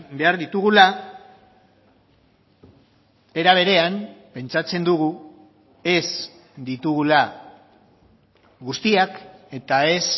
behar ditugula era berean pentsatzen dugu ez ditugula guztiak eta ez